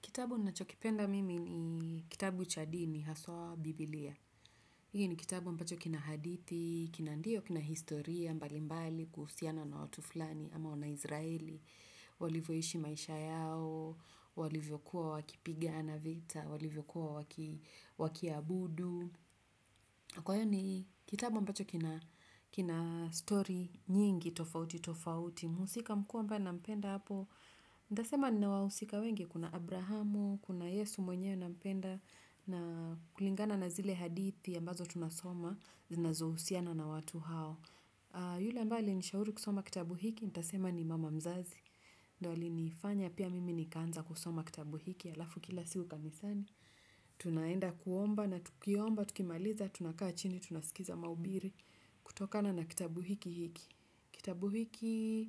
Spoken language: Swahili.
Kitabu nachokipenda mimi ni kitabu cha dini haswaa biblia. Hiki ni kitabu ambacho kina hadithi, kina ndiyo kina historia, mbali mbali kuhusiana na watu fulani ama wana israeli. Walivyoishi maisha yao, walivyokuwa wakipigana vita, walivyokuwa wakiabudu. Kwa hiyo ni kitabu ambacho kina story nyingi tofauti tofauti. Mhusika mkuu ambae nampenda hapo, nitasema nina wahusika wengi kuna Abrahamu, kuna Yesu mwenyewe nampenda, na kulingana na zile hadithi ambazo tunasoma, zinazohusiana na watu hao. Yule ambae alinishauri kusoma kitabu hiki, nitasema ni mama mzazi, ndo alinifanya pia mimi nikaanza kusoma kitabu hiki, alafu kila siku kanisani. Tunaenda kuomba na tukiomba, tukimaliza, tunakaa chini, tunasikiza mahubiri, kutokana na kitabu hiki hiki. Kitabu hiki